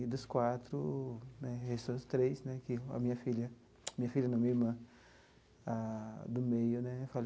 E dos quatro né, restou os três né, que a minha filha, minha filha não, minha irmã a do meio né